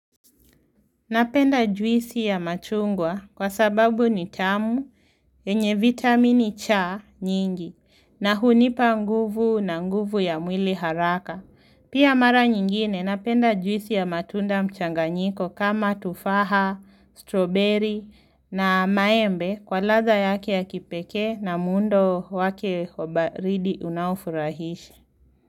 Napenda juisi ya machungwa kwa sababu ni tamu yenye vitamini cha nyingi na hunipa nguvu na nguvu ya mwili haraka. Pia mara nyingine napenda juisi ya matunda mchanganyiko kama tufaha, stroberi na maembe kwa ladha yake ya kipekee na muundo wake wa baridi unaofurahisha.